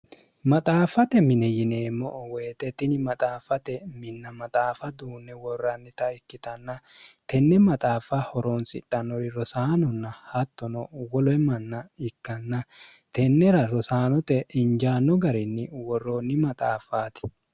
maxaaffate mine yineemmo o woyixettini maxaaffate minna maxaafa duunne worrannita ikkitanna tenne maxaaffa horoonsidhannori rosaanonna hattono woloe manna ikkanna tennera rosaanote injaanno garinni worroonni maxaaffaati